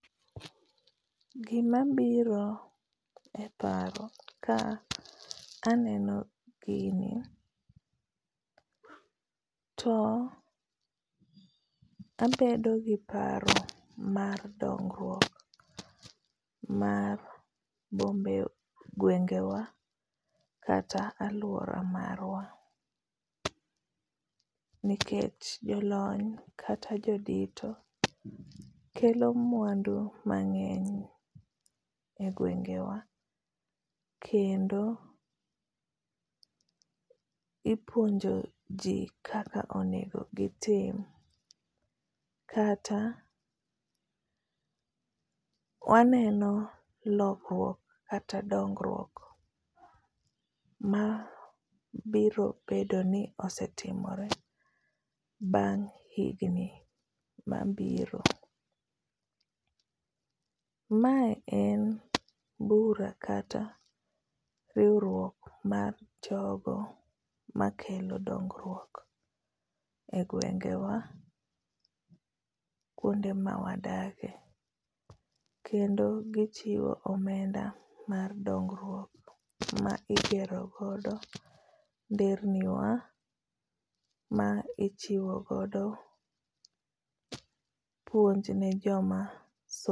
Gima biro e paro ka aneno gini, to abedo gi paro mar dongruok mar bombe gwengewa kata alwora marwa. Nikech jolony, kata jodito, kelo mwandu mangény, e gwengewa kendo ipuonjo ji kaka onego gitim kata waneno lokruok kata dongruok ma biro bedo ni osetimore bang' higni mabiro. Ma en bura kata riwruok mar jogo makelo dongruok e gwengewa kuonde ma wadake. Kendo gichiwo omenda mar dongruok, ma igero godo nderni wa ma ichiwo godo puonj ne joma somo.